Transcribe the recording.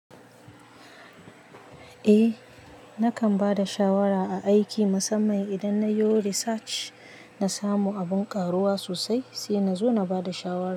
Eh, nakan ba da shawara a aiki musamman idan na yo research na samu abin ƙaruwa sosai sai na zo na ba da shawara.